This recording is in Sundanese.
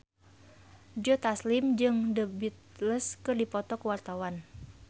Joe Taslim jeung The Beatles keur dipoto ku wartawan